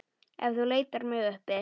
Ef þú leitar mig uppi.